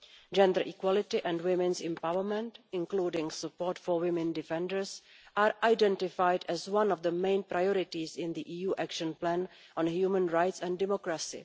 Gender equality and women's empowerment, including support for women defenders, are identified among the main priorities in the EU Action Plan on Human Rights and Democracy.